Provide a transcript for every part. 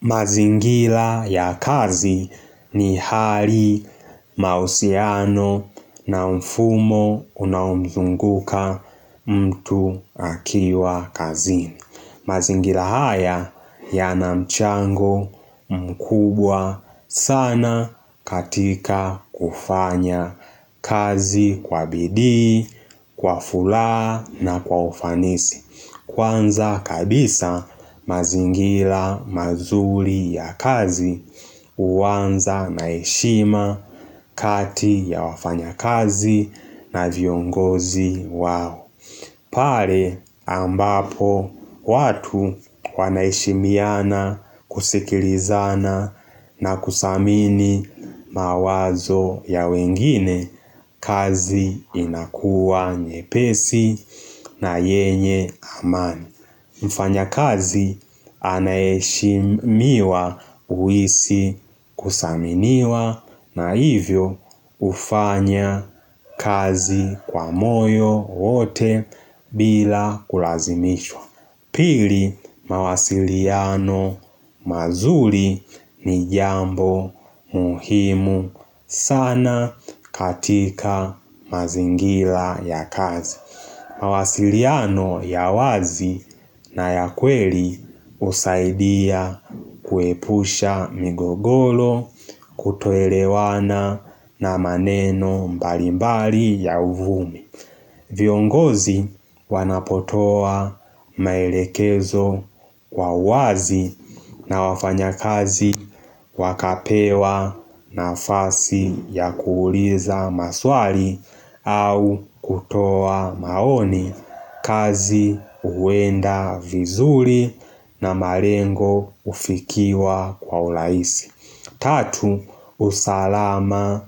Mazingila ya kazi ni hali mausiano na mfumo unaomzunguka mtu akiwa kazini. Mazingila haya ya namchango mkubwa sana katika kufanya kazi kwa bidii, kwa fula na kwa ufanisi. Kwanza kabisa mazingila mazuri ya kazi uwanza naeshima kati ya wafanya kazi na viongozi wao. Pare ambapo watu wanaishimiana kusikilizana na kusamini mawazo ya wengine kazi inakua nyepesi na yenye amani. Mfanya kazi anayeshimiwa uisi kusaminiwa na hivyo ufanya kazi kwa moyo wote bila kulazimishwa. Pili mawasiliano mazuri ni jambo muhimu sana katika mazingila ya kazi. Mawasiliano ya wazi na ya kweli usaidia kuepusha migogolo kutoelewana na maneno mbali mbali ya uvumi. Viongozi wanapotoa maelekezo kwa uazi na wafanya kazi wakapewa nafasi ya kuuliza maswali au kutoa maoni kazi uwenda vizuri na marengo ufikiwa kwa ulaisi. Tatu usalama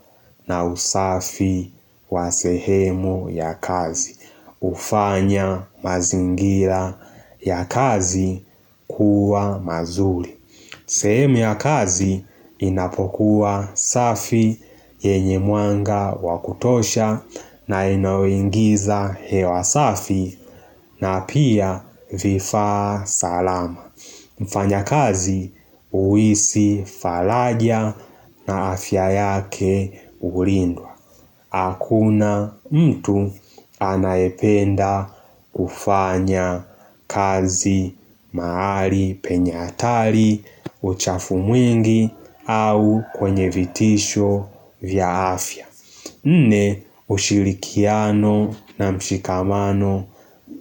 na usafi wa sehemu ya kazi ufanya mazingira ya kazi kuwa mazuri sehemu ya kazi inapokuwa safi yenye muanga wakutosha na inawengiza hewa safi na pia vifaa salama Mfanya kazi uisi falajia na afya yake hulindwa. Hakuna mtu anaependa kufanya kazi maari penye atari uchafu mwingi au kwenye vitisho vya afya. Nne ushirikiano na mshikamano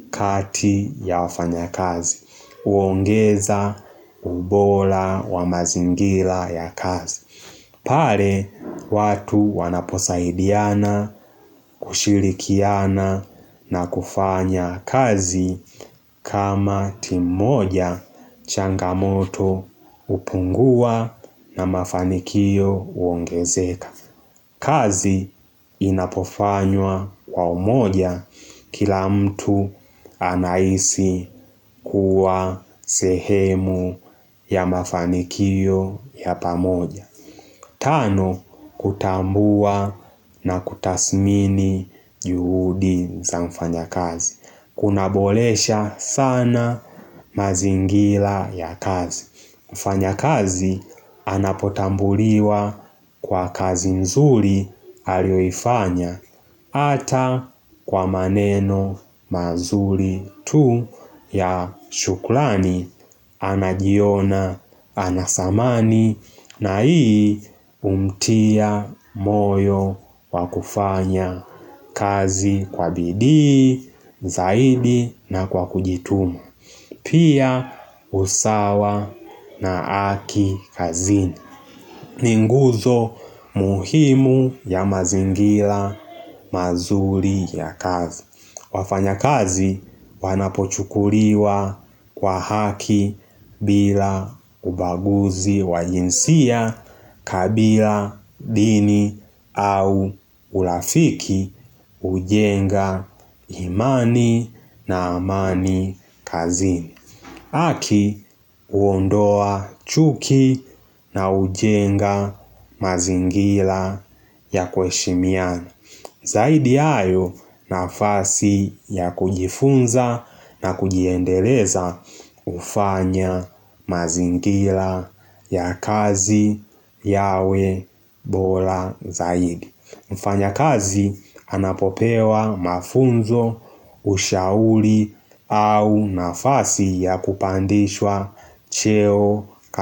kati ya wafanya kazi. Uongeza ubola wa mazingila ya kazi Pare watu wanaposaidiana kushirikiana na kufanya kazi kama timoja changamoto upungua na mafanikio uongezeka kazi inapofanywa kwa umoja kila mtu anaisi kuwa sehemu ya mafanikiyo ya pamoja Tano, kutambua na kutasmini juhudi za mfanya kazi Kuna bolesha sana mazingila ya kazi kufanya kazi anapotambuliwa kwa kazi nzuri alioifanya Ata kwa maneno mazuri tu ya shukulani Anajiona, anasamani na ii humtia moyo wakufanya kazi kwa bidii, zaidi na kwa kujituma Pia usawa na haki kazi ni nguzo muhimu ya mazingila mazuri ya kazi. Wafanya kazi wanapochukuriwa kwa haki bila ubaguzi wajinsia kabila dini au ulafiki ujenga imani na amani kazini Aki uondoa chuki na hujenga mazingila ya kweshimiana. Zaidi ayo nafasi ya kujifunza na kujiendeleza ufanya mazingila ya kazi yawe bola zaidi. Mfanya kazi anapopewa mafunzo, ushauli au nafasi ya kupandishwa cheo kazi.